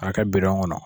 K'a kɛ bidɔn kɔnɔ